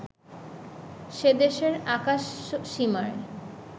সেদেশের আকাশসীমায়